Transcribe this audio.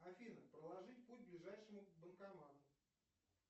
афина проложить путь к ближайшему банкомату